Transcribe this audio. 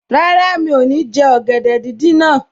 Rárá, mi ò ní jẹ ọ̀gẹ̀dẹ̀ díndín náà